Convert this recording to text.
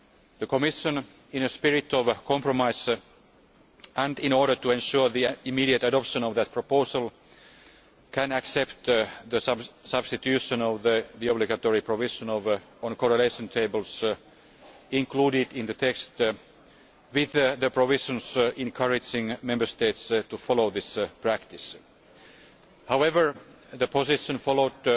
The Commission, in a spirit of compromise and in order to ensure the immediate adoption of that proposal, can accept the substitution of the obligatory provision on correlation tables included in the text with the provisions encouraging Member States to follow this practice. However, the position followed